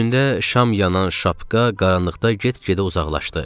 Üstündə şam yanan şapka qaranlıqda get-gedə uzaqlaşdı.